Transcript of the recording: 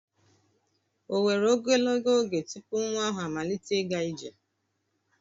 O were ogologo oge tupu nwa ahụ amalite ịga ije?